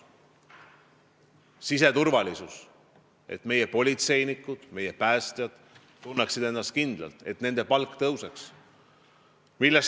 Mainin siseturvalisust, et meie politseinikud ja päästjad tunneksid ennast kindlalt, et nende palk tõuseks.